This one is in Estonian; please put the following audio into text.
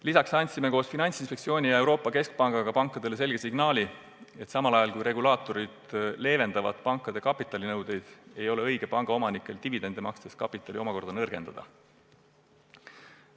Lisaks andsime koos Finantsinspektsiooni ja Euroopa Keskpangaga pankadele selge signaali, et ajal, kui regulaatorid pankade kapitalinõudeid leevendavad, ei ole panga omanikest õige dividende makstes kapitali omakorda nõrgendada.